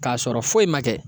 Ka sɔrɔ foyi ma kɛ.